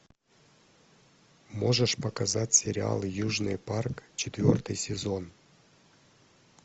можешь показать сериал южный парк четвертый сезон